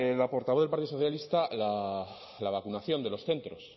la portavoz del partido socialista la vacunación de los centros